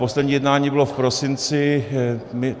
Poslední jednání bylo v prosinci.